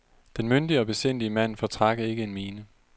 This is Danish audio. Den myndige og besindige mand fortrak ikke en mine.